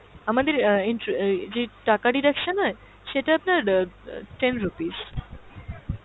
আমাদের অ্যাঁ intro আহ যে টাকা deduction হয় সেটা আপনার অ্যাঁ অ্যাঁ ten rupees.